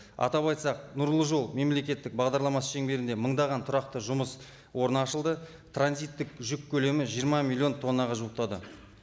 атап айтсақ нұрлы жол мемлекеттік бағдарламасы шеңберінде мыңдаған тұрақты жұмыс орны ашылды транзиттік жүк көлемі жиырма миллион тоннаға жуықтады